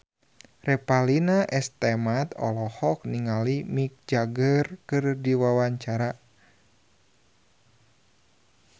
Revalina S. Temat olohok ningali Mick Jagger keur diwawancara